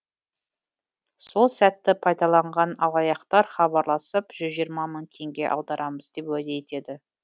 сол сәтті пайдаланған алаяқтар хабарласып жүз жиырма мың теңге аударамыз деп уәде етеді